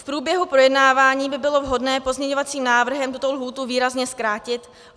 V průběhu projednávání by bylo vhodné pozměňovacím návrhem tuto lhůtu výrazně zkrátit.